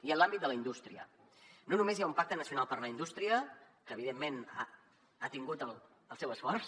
i en l’àmbit de la indústria no només hi ha un pacte nacional per a la indústria que evidentment ha tingut el seu esforç